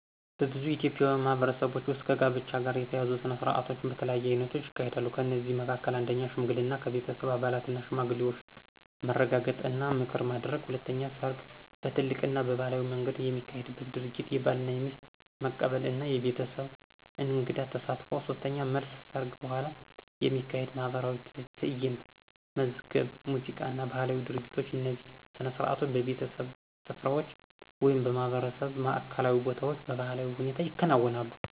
በብዙ ኢትዮጵያዊ ማህበረሰቦች ውስጥ ከጋብቻ ጋር የተያያዙ ሥነ ሥርዓቶች በተለያዩ አይነቶች ይካሄዳሉ። ከእነዚህ መካከል፦ 1. ሽምግልና – በቤተሰብ አባላትና ሽማግሌዎች መረጋገጥ እና ምክር ማድረግ። 2. ሰርግ – በትልቅ እና ባህላዊ መንገድ የሚካሄድ ድርጊት፣ የባልና የሚስት መቀበል እና የቤተሰብ እንግድ ተሳትፎ። 3. መልስ – ሰርግ በኋላ የሚካሄድ ማኅበራዊ ትዕይንት፣ መዝገብ ሙዚቃ እና ባህላዊ ድርጊቶች። እነዚህ ሥነ ሥርዓቶች በቤተሰቦች ስፍራዎች ወይም በማህበረሰብ ማዕከላዊ ቦታዎች በባህላዊ ሁኔታ ይከናወናሉ።